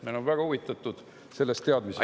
Me oleme väga huvitatud sellest teadmisest.